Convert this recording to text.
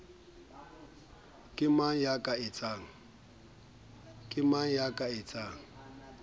ke mang ya ka etsang